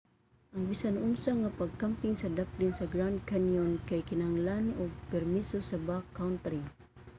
ang bisan unsa nga pagkamping sa daplin sa grand canyon kay kinahanglan og permiso sa backcountry